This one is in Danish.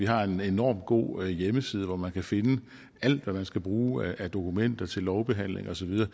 har vi en enormt god hjemmeside hvor man kan finde alt hvad man skal bruge af dokumenter til lovbehandling og så videre